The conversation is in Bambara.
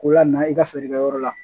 Ko lamaka i ka feerekɛyɔrɔ la